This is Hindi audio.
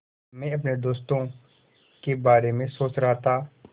मैं अपने दोस्तों के बारे में सोच रहा था